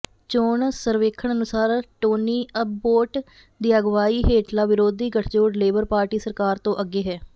ਚੋਣ ਸਰਵੇਖਣ ਅਨੁਸਾਰ ਟੋਨੀਅਬੋਟ ਦੀ ਅਗਵਾਈ ਹੇਠਲਾ ਵਿਰੋਧੀ ਗੱਠਜੋੜ ਲੇਬਰ ਪਾਰਟੀ ਸਰਕਾਰ ਤੋਂ ਅੱਗੇ ਹੈ